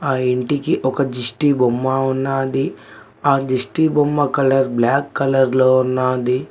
ఆ ఇంటికి ఒక దిష్టిబొమ్మ ఉన్నది ఆ దిష్టిబొమ్మ కలర్ బ్లాక్ కలర్ లో ఉన్నది.